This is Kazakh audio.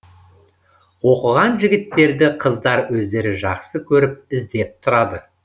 оқыған жігіттерді қыздар өздері жақсы көріп іздеп тұрады